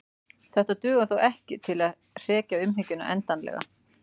Þetta dugar þó ekki til að hrekja hughyggjuna endanlega.